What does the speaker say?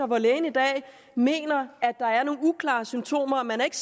hvor lægen i dag mener at der er nogle uklare symptomer men ikke